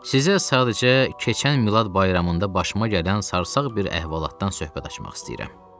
Sizə sadəcə keçən Milad bayramında başıma gələn sarsaq bir əhvalatdan söhbət açmaq istəyirəm.